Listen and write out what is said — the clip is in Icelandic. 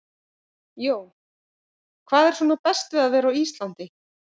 Jón: Hvað er svona best við að vera á Íslandi?